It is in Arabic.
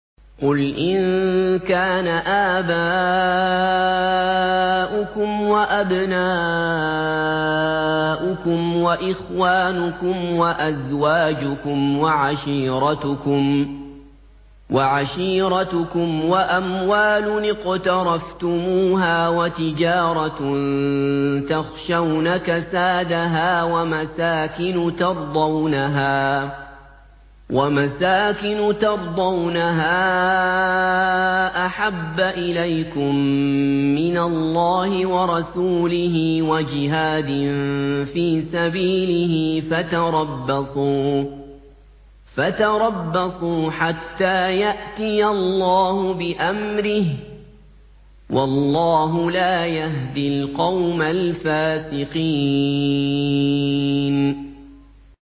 قُلْ إِن كَانَ آبَاؤُكُمْ وَأَبْنَاؤُكُمْ وَإِخْوَانُكُمْ وَأَزْوَاجُكُمْ وَعَشِيرَتُكُمْ وَأَمْوَالٌ اقْتَرَفْتُمُوهَا وَتِجَارَةٌ تَخْشَوْنَ كَسَادَهَا وَمَسَاكِنُ تَرْضَوْنَهَا أَحَبَّ إِلَيْكُم مِّنَ اللَّهِ وَرَسُولِهِ وَجِهَادٍ فِي سَبِيلِهِ فَتَرَبَّصُوا حَتَّىٰ يَأْتِيَ اللَّهُ بِأَمْرِهِ ۗ وَاللَّهُ لَا يَهْدِي الْقَوْمَ الْفَاسِقِينَ